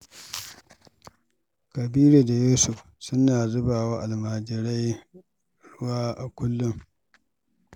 Kabiru da Yusuf suna zuba wa almajirai ruwa a kullum.